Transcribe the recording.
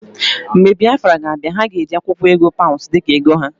Mgbe Biafra ga abia, ha ga-eji akwụkwọ ego paụnsụ dika ego ha.